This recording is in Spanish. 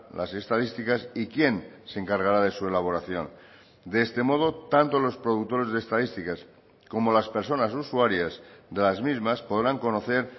las estadísticas y quién se encargará de su elaboración de este modo tanto los productores de estadísticas como las personas usuarias de las mismas podrán conocer